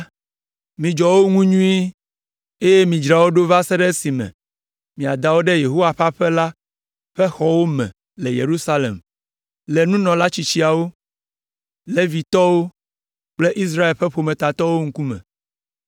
Midzɔ wo ŋu nyuie eye midzra wo ɖo va se ɖe esime miada wo ɖe Yehowa ƒe aƒe la ƒe xɔwo me le Yerusalem le nunɔla tsitsiawo, Levitɔwo kple Israel ƒe ƒometatɔwo ŋkume.”